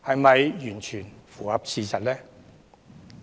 是否符合事實呢？